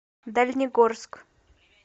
дальнегорск